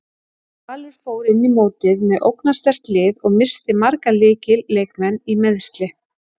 Valur fór inn í mótið með ógnarsterkt lið og missti marga lykil leikmenn í meiðsli.